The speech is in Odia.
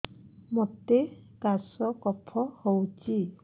ମୋତେ କାଶ କଫ ହଉଚି